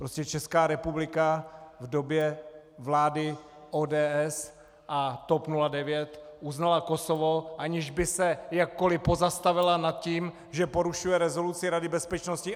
Prostě Česká republika v době vlády ODS a TOP 09 uznala Kosovo, aniž by se jakkoli pozastavila nad tím, že porušuje rezoluci Rady bezpečnosti.